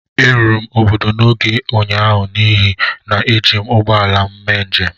Eruru m obodo n'oge ụnyahụ n'ihi na eji m ụgbọ ala m mee njem